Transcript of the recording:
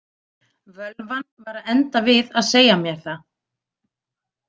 Völvan var að enda við að segja mér það.